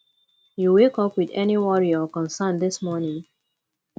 you wake up with any worry or concern dis morning